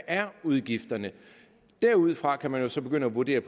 udgifterne er derudfra kan man så begynde at vurdere